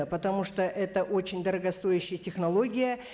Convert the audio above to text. потому что это очень дорогостоющая технология